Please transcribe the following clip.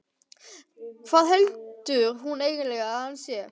Hvað heldur hún eiginlega að hann sé!